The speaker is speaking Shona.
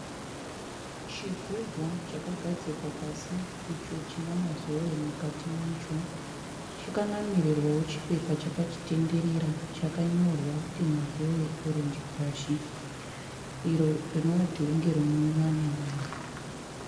Chigubhu chakagadzikwa pasi icho china mazowe mukati macho. Chakanamirwawo chipepa chakachitenderera chakanyorwa kuti 'Mazoe Orange Crush', iro rinova dhiringi rinonwiwa navanhu .